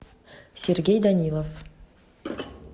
сергей данилов